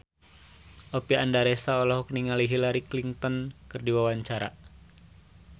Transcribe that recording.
Oppie Andaresta olohok ningali Hillary Clinton keur diwawancara